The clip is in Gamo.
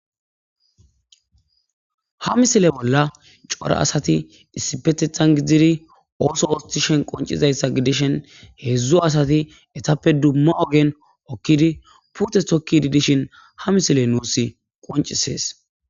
Ha misile bolla cora asati issipetethan gidzdziri ooso wostishen qoncizayssa gidishen heedzdzu asati etappe dumma ogen okkidi pute tokkidi dishin ha misile nuus qoncisees.